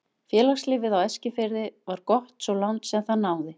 Félagslífið á Eskifirði var gott svo langt sem það náði.